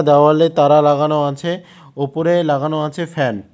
দেওয়ালে তারা লাগানো আছে ওপরে লাগানো আছে ফ্যান ।